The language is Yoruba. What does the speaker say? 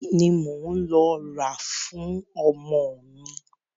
Bisikí ni mò ń lọ rà fún ọmọ mi.